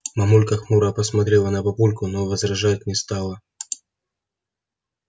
мамулька хмуро посмотрела на папульку но возражать не стала